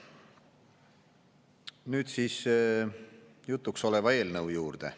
Nüüd siis jutuks oleva eelnõu juurde.